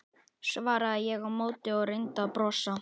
svaraði ég á móti og reyndi að brosa.